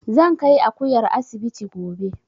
Zan kai Akuyar asibiti gobe